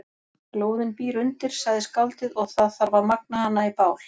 Glóðin býr undir, sagði skáldið, og það þarf að magna hana í bál.